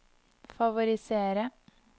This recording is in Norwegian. favorisere